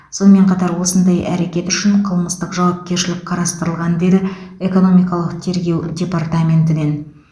сонымен қатар осындай әрекет үшін қылмыстық жауапкершілік қарастырылған деді экономикалық тергеу департаментінен